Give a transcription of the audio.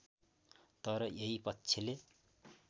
तर यही पक्षले